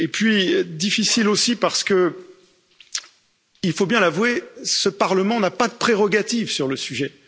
Et puis difficile aussi parce qu'il faut bien l'avouer, ce Parlement n'a pas de prérogatives sur le sujet.